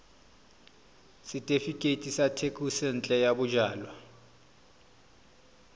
setefikeiti sa thekisontle ya bojalwa